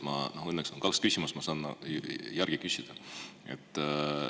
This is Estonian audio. Õnneks on mul võimalik esitada kaks küsimust, nii et ma saan veel küsida.